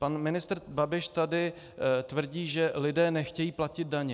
Pan ministr Babiš tady tvrdí, že lidé nechtějí platit daně.